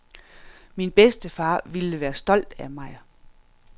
Min bedstefar ville være stolt af mig.